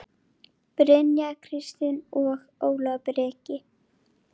Brynja Kristín og Ólafur Breki.